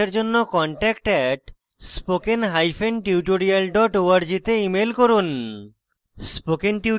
বিস্তারিত তথ্যের জন্য contact @spokentutorial org তে ইমেল করুন